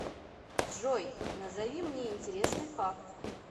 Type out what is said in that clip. джой назови мне интересный факт